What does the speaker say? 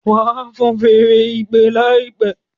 wá fọ́n Fèèrè ìpè láìpé!